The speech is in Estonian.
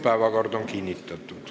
Päevakord on kinnitatud.